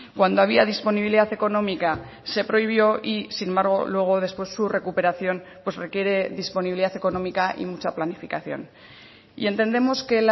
cuando había disponibilidad económica se prohibió y sin embargo luego después su recuperación pues requiere disponibilidad económica y mucha planificación y entendemos que